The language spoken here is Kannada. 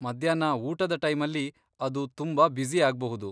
ಮಧ್ಯಾಹ್ನ ಊಟದ ಟೈಮಲ್ಲಿ ಅದು ತುಂಬಾ ಬ್ಯುಸಿ ಆಗ್ಬಹುದು.